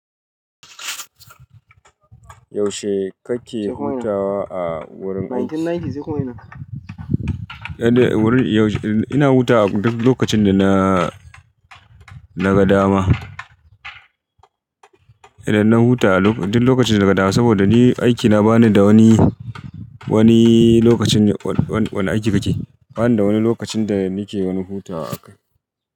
Yaushe kake hutawa a wurin aiki? Ina hutawa duk lokacin da na, naga dama. Idan na hutawa duk lokacin da naga dama saboda ni aikina bani da wani, wani lokacin, wani aiki kake? Bani da wani lokacin da nake wani hutawa.